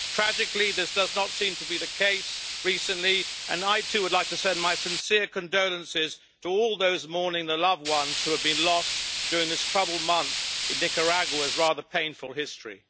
Tragically, this does not seem to be the case recently, and I too would like to send my sincere condolences to all those mourning their loved ones who have been lost during this troubled month in Nicaragua's rather painful history.